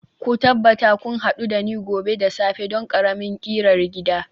ku tabbata kun hadu da ni gobe da safe don ƙaramin ƙirar gida